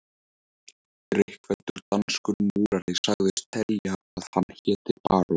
Drykkfelldur danskur múrari sagðist telja að hann héti barón